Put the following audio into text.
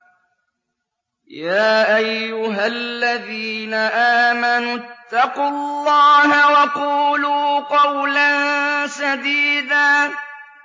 يَا أَيُّهَا الَّذِينَ آمَنُوا اتَّقُوا اللَّهَ وَقُولُوا قَوْلًا سَدِيدًا